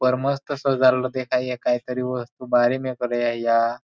उप्पर मस्त सजाड़ देखाय काई तरी बाहरी वस्तु मेक रया.